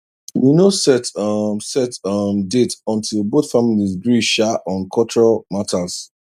we no set um set um date until both families gree um on culture matters